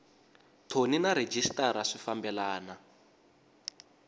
thoni na rhejisitara swi fambelana